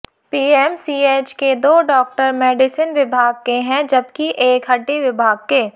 PMCH के दो doctor medicine विभाग के हैं जबकि एक हड्डी विभाग के